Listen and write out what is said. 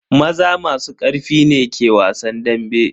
Maza masu karfi ne ke wasan dambe.